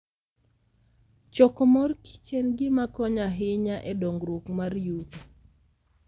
Choko mor kich en gima konyo ahinya e dongruok mar yuto.